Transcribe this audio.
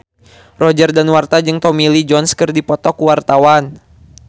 Roger Danuarta jeung Tommy Lee Jones keur dipoto ku wartawan